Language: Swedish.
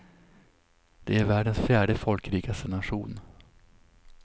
Det är världens fjärde folkrikaste nation.